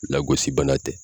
Lagosi bana tɛ